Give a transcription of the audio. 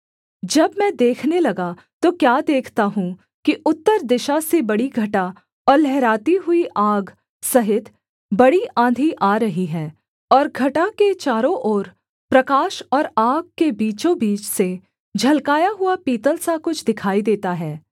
जब मैं देखने लगा तो क्या देखता हूँ कि उत्तर दिशा से बड़ी घटा और लहराती हुई आग सहित बड़ी आँधी आ रही है और घटा के चारों ओर प्रकाश और आग के बीचोंबीच से झलकाया हुआ पीतल सा कुछ दिखाई देता है